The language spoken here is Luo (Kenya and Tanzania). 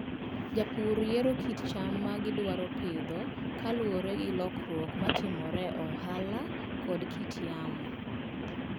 Jopur yiero kit cham ma gidwaro pidho kaluwore gi lokruok ma timore e ohala kod kit yamo.